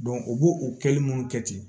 u b'o o kɛli munnu kɛ ten